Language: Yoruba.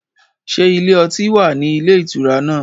Ṣé ilé ọtí wà ní ilé ìtura náà?